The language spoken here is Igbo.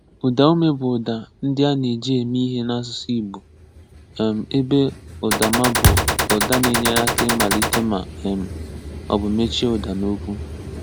Udaume bụ uda ndi a na-eji eme ihe na- asụsụ igbo um ebe udama bụ uda na-enyere aka ịmalite ma um ọ bụ mechie uda na okwu.